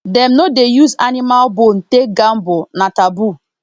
dem no dey use animal bone take gamble na taboo